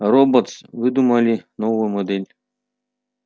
роботс выдумали новую модель